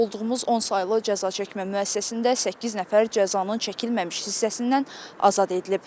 Olduğumuz 10 saylı cəzaçəkmə müəssisəsində səkkiz nəfər cəzanın çəkilməmiş hissəsindən azad edilib.